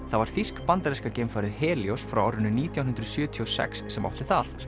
það var þýsk bandaríska geimfarið frá árinu nítján hundruð sjötíu og sex sem átti það